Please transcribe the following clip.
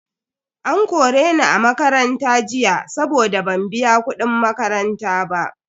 An kore ni a makaranta jiya saboda ban biya kudin makaranta ba.